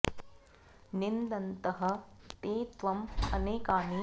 निन्दन्तः ते त्वम् अनेकानि अवक्तव्यानि वचनानि अपि कथयिष्यन्ति